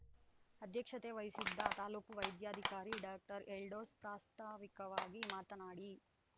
ಅಧ್ಯಕ್ಷತೆ ವಹಿಸಿದ್ದ ತಾಲೂಕು ವೈದ್ಯಾಧಿಕಾರಿ ಡಾಕ್ಟರ್ ಎಲ್ಡೋಸ್‌ ಪ್ರಾಸ್ತಾವಿಕವಾಗಿ ಮಾತನಾಡಿ